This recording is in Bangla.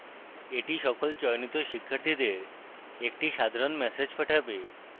এটি সকল চয়নিত শিক্ষার্থীদের একটি সাধারণ ম্যাসেজ পাঠাবে